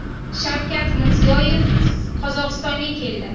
Shavkat Mirziyoyev Qozog‘istonga keldi.